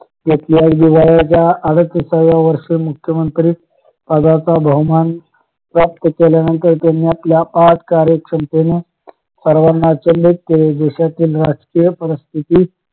व्यक्तीच्या जिव्हाळ्याच्या अडतिसाव्या वर्षी मुख्यमंत्री पदाचा बहुमान प्राप्त केल्यानंतर त्यांनी आपल्या अफाट कार्य क्षमतेने सर्वाना अचंबित केले देशातील राजकीय परिस्थिती